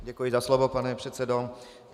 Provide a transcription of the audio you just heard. Děkuji za slovo, pane předsedo.